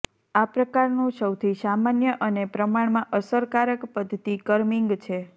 આ પ્રકારનું સૌથી સામાન્ય અને પ્રમાણમાં અસરકારક પદ્ધતિ કર્મીંગ છે